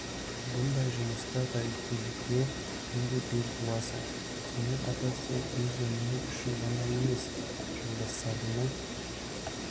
бұндай жұмыста тәуекелге күнде бел буасын сонымен қатар сен өз өмірің үшін ғана емес жолдастарыңнын